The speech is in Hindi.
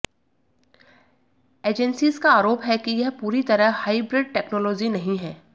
एजेंसीज का आरोप है कि यह पूरी तरह हाइब्रिड टेक्नोलॉजी नहीं है